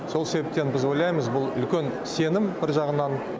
сол себептен біз ойлаймыз бұл үлкен сенім бір жағынан